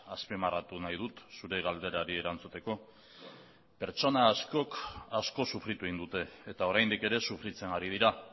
azpimarratu nahi dut zure galderari erantzuteko pertsona askok asko sufritu egin dute eta oraindik ere sufritzen ari dira